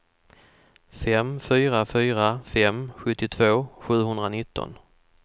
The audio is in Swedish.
fem fyra fyra fem sjuttiotvå sjuhundranitton